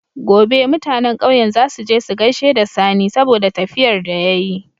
Gobe mutAnan ƙauyen zasu je su gaishe da sani saboda tafiyar da yayi